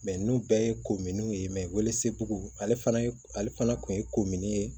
ninnu bɛɛ ye kominiw ye welesebugu ale fana ye ale fana kun ye kominiye ye